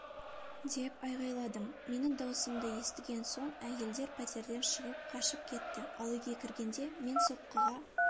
деп айғайладым менің даусымды естіген соң әйелдер пәтерден шығып қашып кетті ал үйге кіргенде мен соққыға